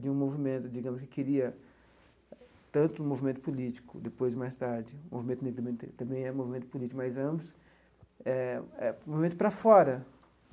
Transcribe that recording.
de um movimento, digamos, que queria tanto um movimento político, depois, mais tarde, o movimento negro também é um movimento político, mas ambos é é um movimento para fora.